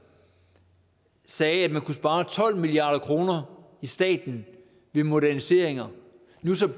sagde at der kunne spares tolv milliard kroner i staten ved moderniseringer nu